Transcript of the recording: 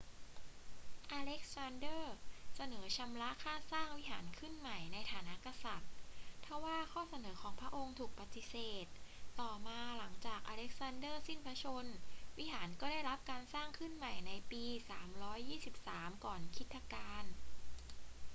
อเล็กซานเดอร์เสนอชำระค่าสร้างวิหารขึ้นใหม่ในฐานะกษัตริย์ ทว่าข้อเสนอของพระองค์ถูกปฏิเสธ ต่อมา หลังจากอเล็กซานเดอร์สิ้นพระชนม์ วิหารก็ได้รับการสร้างขึ้นใหม่ในปี 323 ก่อนคริสตกาล